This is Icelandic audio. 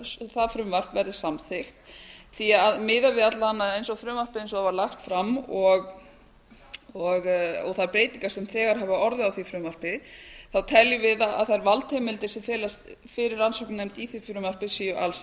það frumvarp verði samþykkt því að miðað við alla vega eins og frumvarpið eiga a það a alls fram og þær breuytignar sem þegar gefa orðið á var fruvmapri teljum við að þær valdheimildir sem felast fyrir rannsóknarnefnd í var frumvarpi séu alls